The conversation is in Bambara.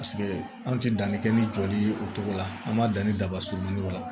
Paseke anw tɛ danni kɛ ni jɔli ye o cogo la an b'a dan ni daba surunmani la